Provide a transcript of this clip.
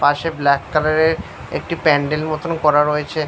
পাশে black colour এর একটি প্যান্ডেল মতো করা রয়েছে।